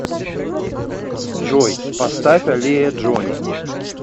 джой поставь аллея джони